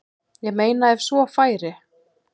Ég meina ef svo færi.